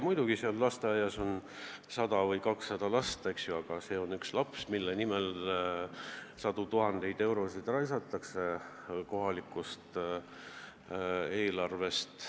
Muidugi, lasteaias on 100 või 200 last, aga too vastsündinu on üks lastest, kelle nimel kulutatakse sadu tuhandeid eurosid kohalikust eelarvest.